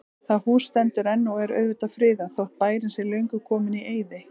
Það hús stendur enn og er auðvitað friðað, þótt bærinn sé löngu kominn í eyði.